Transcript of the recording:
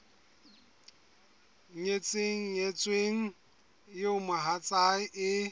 nyetseng nyetsweng eo mohatsae e